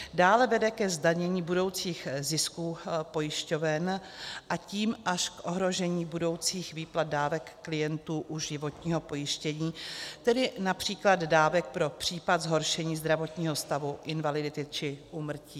Dále vede ke zdanění budoucích zisků pojišťoven, a tím až k ohrožení budoucích výplat dávek klientů u životního pojištění, tedy například dávek pro případ zhoršení zdravotního stavu, invalidity či úmrtí.